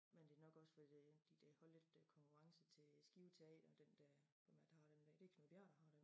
Men det nok også for det de det holde lidt konkurrence til Skive teater og den dér hvem er det der har den dér det Knud Bjerre der har den